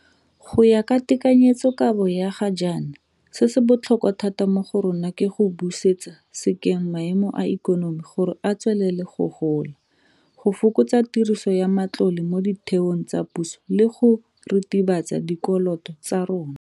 Go ya ka tekanyetsokabo ya ga jaana se se botlhokwa thata mo go rona ke go busetsa sekeng maemo a ikonomi gore e tswelele go gola, go fokotsa tiriso ya matlole mo ditheong tsa puso le go ritibatsa dikoloto tsa rona.